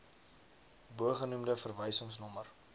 bogenoemde verwysings nommer